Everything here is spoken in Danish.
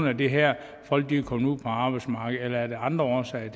af det her folk er kommet ud på arbejdsmarkedet eller er der andre årsager